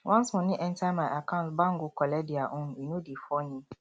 once moni enta my account bank go collect their own e no dey funny